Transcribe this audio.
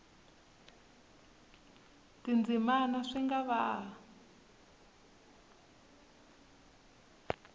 tindzimana swi nga ha va